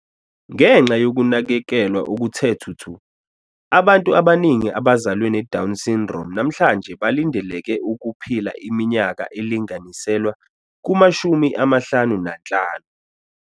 Ngenxa yokunakekelwa okuthe thuthu, abantu abaningi abazalwe neDown syndrome namhlanje balindeleke ukuphila iminyaka elinganiselwa kuma-55.